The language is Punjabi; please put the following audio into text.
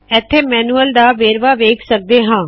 ਐਥੇ ਮੈਨੁਅਲ ਦਾ ਵੇਰਵਾ ਵੇਖ ਸਕਦੇ ਹਾ